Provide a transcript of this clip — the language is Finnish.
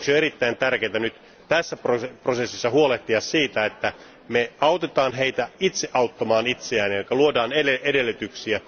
Sen vuoksi on erittäin tärkeää nyt tässä prosessissa huolehtia siitä, että me autamme heitä itse auttamaan itseään, eli luodaan edellytyksiä.